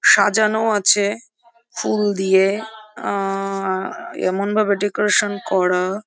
সাজানো আছে ফুল দিয়ে আ এমনভাবে ডেকোরেশন করা --